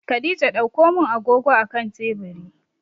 Khadijah ɗaukomin agogo a akan teburi